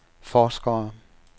forskere